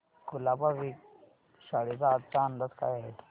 कुलाबा वेधशाळेचा आजचा अंदाज काय आहे